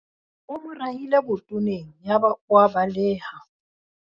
o mo rahile botoneng yaba o a baleha